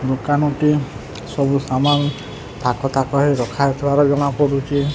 ଦୁକାନ କେ ସବୁ ସାମାନ ଥାକ ଥାକ ହେଇ ରଖା ହେଇଥିବାର ଜଣା ପଡୁଚି।